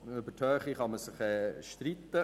Über die Höhe kann man sich streiten.